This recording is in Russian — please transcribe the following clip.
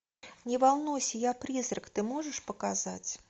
не волнуйся я призрак ты можешь показать